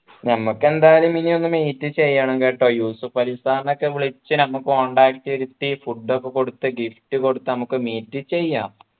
ഞമ്മക്ക് എന്തായാലും ഇനിയൊന്നു meet ചെയ്യണം കേട്ടോ യൂസഫലി sir നെ ഒക്കെ വിളിച്ച് നമ്മ contact ചെയ്ത് food ഒക്കെ കൊടുത്തു gift കൊടുത്തു നമുക്ക് meet ചെയ്യാം